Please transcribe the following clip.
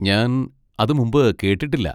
ഞാൻ അത് മുമ്പ് കേട്ടിട്ടില്ല.